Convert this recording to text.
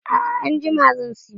A'a anjima zan siyo.